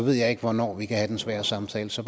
jeg ikke hvornår vi kan have den svære samtale så